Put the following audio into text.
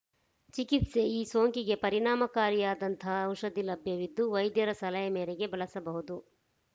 ಚಿಕಿತ್ಸೆ ಈ ಸೋಂಕಿಗೆ ಪರಿಣಾಮಕಾರಿಯಾದಂತಹ ಔಷಧಿ ಲಭ್ಯವಿದ್ದು ವೈದ್ಯರ ಸಲಹೆ ಮೇರೆಗೆ ಬಳಸಬಹುದು